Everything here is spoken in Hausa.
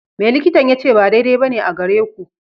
Me likitan ya ce ba daidai ba ne a gare ku?